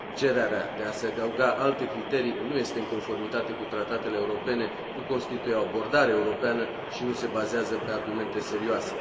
Cererea de a se adăuga alte criterii nu este în conformitate cu tratatele europene, nu constituie o abordare europeană și nu se bazează pe argumente serioase.